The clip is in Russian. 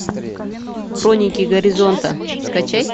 хроники горизонта скачай